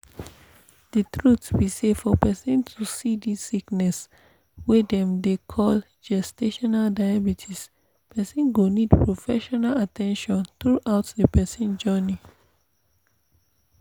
the truth be say for persin to see this sickness wey dem dey call gestational diabetespersin go need professional at ten tion throughout the persin journey